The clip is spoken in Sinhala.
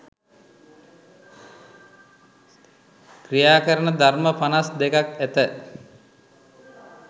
ක්‍රියා කරන ධර්ම පනස් දෙකක් ඇත